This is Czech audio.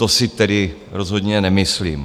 To si tedy rozhodně nemyslím.